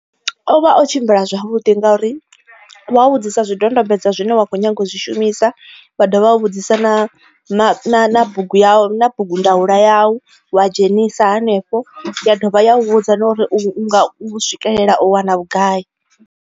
O vha o tshimbila zwavhudi ngauri wa vhudzisa zwidodombedzwa zwine wa kho nyaga u zwishumisa wa dovha wa vhudzisa na na na na bugu ya na bugu ndaula yau wa dzhenisa hanefho ya dovha ya u vhudza na uri u nga swikelela u wana vhugai.